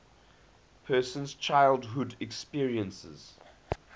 person's childhood experiences